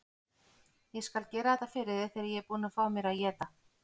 Ég skal gera þetta fyrir þig þegar ég er búinn að fá mér að éta.